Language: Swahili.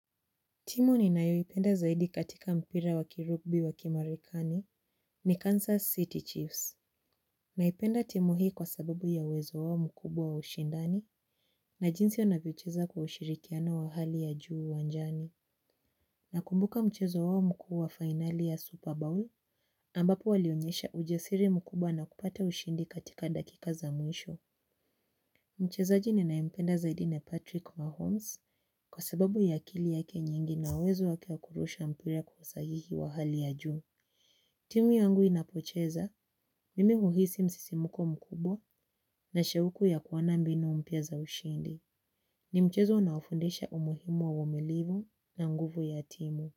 Timu ni nayo ipenda zaidi katika mpira wa kirugbi wa kimarikani ni Kansas City Chiefs. Naipenda timu hii kwa sababu ya uwezo wao mkubwa wa ushindani na jinsi yonavyocheza kwa ushirikiana wa hali ya juu uwanjani. Nakumbuka mchezo wao mkuu wa finali ya Super Bowl ambapo walionyesha ujasiri mkubwa na kupata ushindi katika dakika za mwisho. Mchezaji ninaipenda zaidine Patrick Mahomes kwa sababu ya akili yake nyingi na uwezo wake wa kurusha mpira kwa uhusahihi wa hali ya juu. Timu yangu inapocheza, mimi uhisi msisimuko mkubwa na shauku ya kuwana mbinu mpya za ushindi. Ni mchezo unaofundisha umuhimu wa uvumilivu na nguvu ya timu.